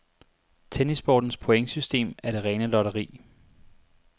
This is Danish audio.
Tennissportens pointsystem er det rene lotteri.